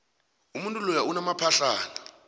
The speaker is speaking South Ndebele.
umuntu loya unamaphahlana